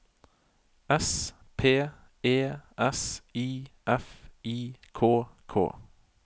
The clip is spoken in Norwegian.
S P E S I F I K K